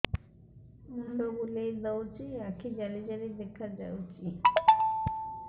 ମୁଣ୍ଡ ବୁଲେଇ ଦଉଚି ଆଖି ଜାଲି ଜାଲି ଦେଖା ଯାଉଚି